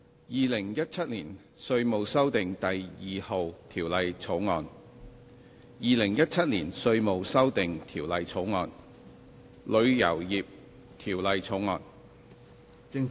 《2017年稅務條例草案》《2017年稅務條例草案》《旅遊業條例草案》。